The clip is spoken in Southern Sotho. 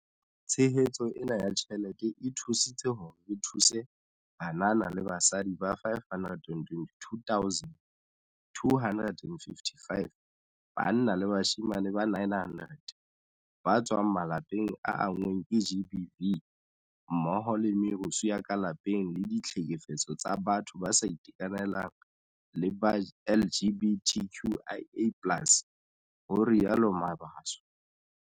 Tshehetso ena ya tjhelete e thusitse hore re thuse banana le basadi ba 522 255 banna le bashemane ba 900 ba tswang malapeng a anngweng ke GBV mmoho le merusu ya ka lapeng le ditlhekefetso tsa batho ba sa itekanelang le ba LGBTQIA+ ho rialo Mabaso.